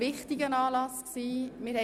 Dieser Anlass war spannend und wichtig.